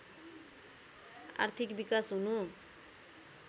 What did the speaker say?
आर्थिक विकास हुनु